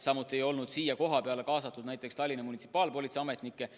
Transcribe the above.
Samuti ei olnud siia kohapeale kaasatud näiteks Tallinna munitsipaalpolitsei ametnikke.